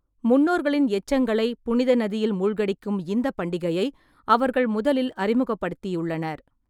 முன்னோர்களின் எச்சங்களை புனித நதியில் மூழ்கடிக்கும் இந்த பண்டிகையை அவர்கள் முதலில் அறிமுகப்படுத்தியுள்ளனர்.